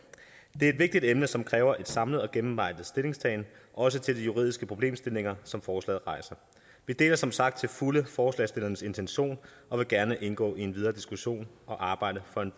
det er et vigtigt emne som kræver en samlet og gennemarbejdet stillingtagen også til de juridiske problemstillinger som forslaget rejser vi deler som sagt til fulde forslagsstillernes intention og vil gerne indgå i en videre diskussion og arbejde